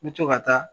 N bɛ to ka taa